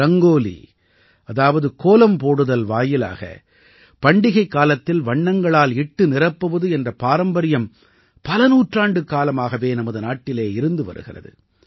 ரங்கோலி அதாவது கோலம் போடுதல் வாயிலாக பண்டிகைக் காலத்தில் வண்ணங்களால் இட்டு நிரப்புவது என்ற பாரம்பரியம் பல நூற்றாண்டுக்காலமாகவே நமது நாட்டிலே இருந்து வருகிறது